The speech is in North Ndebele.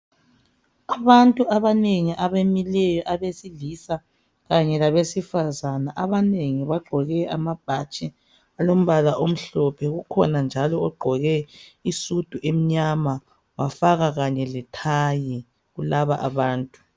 Abantu abanengi abamileyo abesilisa kanye labesifazane. Abanengi bagqoke amabhatshi alombala omhlophe, kukhona njalo ogqoke isudu emnyama wafaka kanye lethayi kulaba abantu.